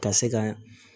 Ka se ka